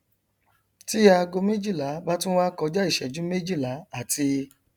tí aago méjìlá bá tún wá kọjá ìṣẹjú méjìlá àti